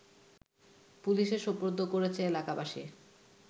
পুলিশে সোপর্দ করেছে এলাকাবাসী